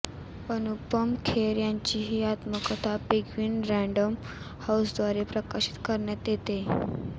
अनुपम खेर यांची ही आत्मकथा पेंग्विन रॅण्डम हाऊसद्वारे प्रकाशित करण्यात येतेय